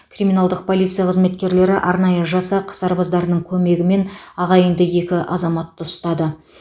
криминалдық полиция қызметкерлері арнайы жасақ сарбаздарының көмегімен ағайынды екі азаматты ұстады